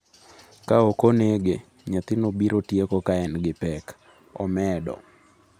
"""Ka ok onege, nyathino biro tieko ka en gi pek,"" omedo."